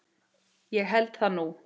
Ég held það nú!